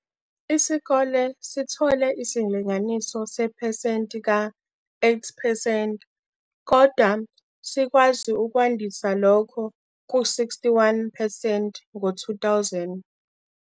Isikole sithole isilinganiso sepasenti ka-8 percent kodwa sikwazi ukwandisa lokho ku-61 percent ngo-2000.